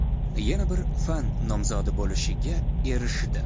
yana biri fan nomzodi bo‘lishga erishdi.